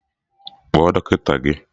Kpọọ dọkịta gị!